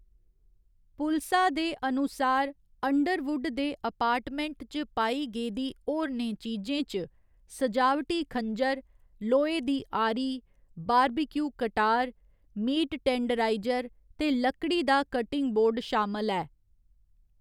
पुलसा दे अनुसार, अंडरवुड दे अपार्टमेंट च पाई गेदी होरनें चीजें च सजावटी खंजर, लोहे दी आरी, बारबेक्यू कटार, मीट टेंडराइजर ते लकड़ी दा कटिंग बोर्ड शामल ऐ।